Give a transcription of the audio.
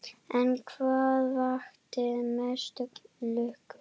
En hvað vakti mesta lukku?